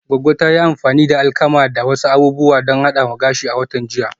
Goggo ta yi amfani da alkama da wasu abubuwa don hadawa gashi a watan jiya